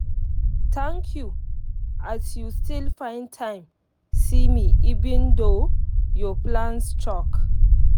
thank you as you still find time see me even though your plans choke.